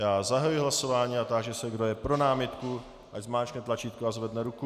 Já zahajuji hlasování a táži se, kdo je pro námitku, ať zmáčkne tlačítko a zvedne ruku.